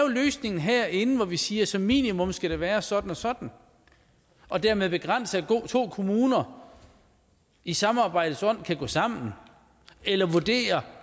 en løsning herinde hvor vi siger at som minimum skal det være sådan og sådan og dermed begrænse at to kommuner i samarbejdets ånd kan gå sammen eller vurdere